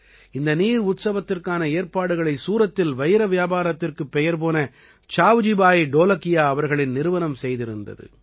இந்த நீர் உற்சவத்திற்கான ஏற்பாடுகளை சூரத்தில் வைர வியாபாரத்திற்குப் பெயர் போன சாவ்ஜி பாயி டோலகியா அவர்களின் நிறுவனம் செய்திருந்தது